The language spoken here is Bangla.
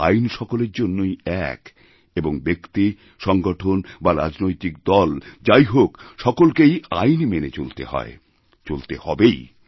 আইন সকলের জন্যই এক এবং ব্যক্তি সংগঠন বা রাজনৈতিক দল যাইহোক সকলকেই আইন মেনে চলতে হয় চলতে হবেই